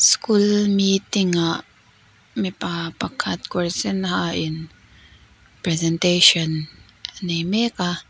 school meeting ah mipa pakhat kawr sen ha in presentation a nei mek a.